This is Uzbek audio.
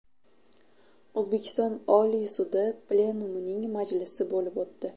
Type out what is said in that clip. O‘zbekiston Oliy sudi plenumining majlisi bo‘lib o‘tdi.